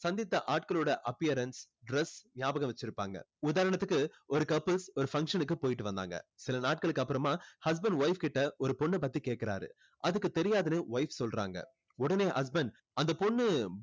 சந்தித்த ஆட்களோட appearance dress ஞாபகம் வச்சு இருப்பாங்க உதாரணத்துக்கு ஒரு couples ஒரு function கு போய்ட்டு வந்தாங்க சில நாட்களுக்கு அப்பறமா husband wife கிட்ட ஒரு பொண்ண பத்தி கேக்குறாரு அதுக்கு தெரியாதுன்னு wife சொல்லுறாங்க உடனே husband அந்த பொண்ணு